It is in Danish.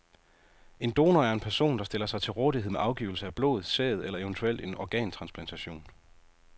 En donor er en person, der stiller sig til rådighed med afgivelse af blod, sæd eller eventuelt en organtransplantation.